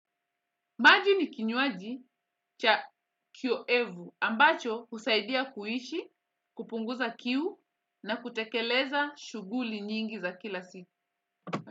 Maji ni kinywaji cha kioevu ambacho kusaidia kuishi, kupunguza kiu na kutekeleza shughuli nyingi za kila siku.